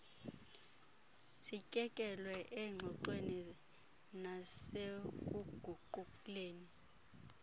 sityekele engxoxweni nasekuguquleni